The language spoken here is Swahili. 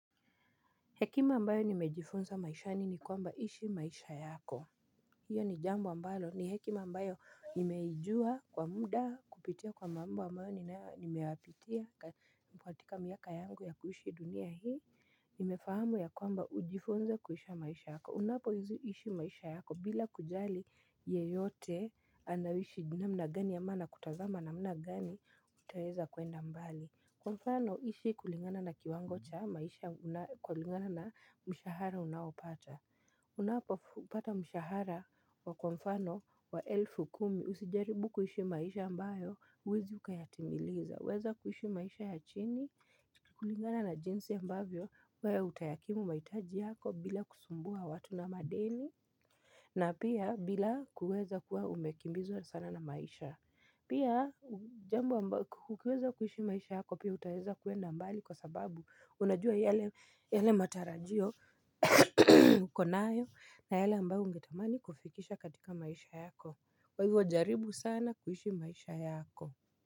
Hekima ambayo nimejifunza maishani ni kwamba ishi maisha yako. Hiyo ni jambo ambalo ni hekima ambayo nimeijua kwa muda kupitia kwa mambo ambayo nimewahipitia katika miaka yangu ya kuishi dunia hii. Nimefahamu ya kwamba ujifunze kuishi maisha yako. Unapo ishi maisha yako bila kujali yeyote anaishi namna gani ama anakutazama na mna gani utaweza kwenda mbali. Kwamfano ishi kulingana na kiwango cha maisha kulingana na mshahara unaopata Unapo pata mshahara wa kwamfano wa elfu kumi usijaribu kuishi maisha ambayo uwezi ukayatimiliza weza kuishi maisha ya chini kulingana na jinsi ya ambavyo wewe utayakimu mahitaji yako bila kusumbua watu na madeni na pia bila kuweza kuwa umekimbizwa sana na maisha Pia jambo ambayo hukiweza kuishi maisha yako pia utaweza kuenda mbali kwa sababu unajua yale matarajio ukonayo na yale ambayo ungetamani kufikisha katika maisha yako kwaivyo jaribu sana kuishi maisha yako.